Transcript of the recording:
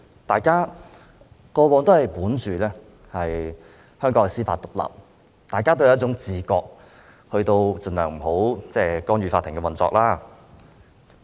大家過往都相信香港是司法獨立，大家都有一種自覺，盡量不去干預法庭的運作。